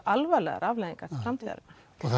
alvarlegar afleiðingar til framtíðarinnar